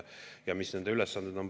Ja mis nende ülesanded on?